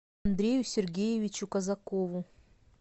андрею сергеевичу казакову